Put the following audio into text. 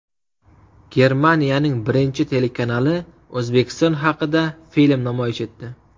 Germaniyaning birinchi telekanali O‘zbekiston haqida film namoyish etdi.